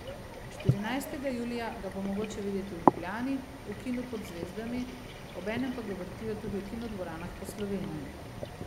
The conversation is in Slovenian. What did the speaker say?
Štirinajstega julija ga bo mogoče videti v Ljubljani, v Kinu pod zvezdami, obenem pa ga vrtijo tudi v kinodvoranah po Sloveniji.